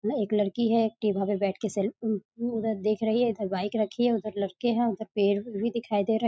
एक लड़की है एक टेबल पे बैठ के सेल् उम उधर देख रही है इधर बाइक रखी है उधर लड़के हैं उधर पेड़ भी दिखाई दे रहे --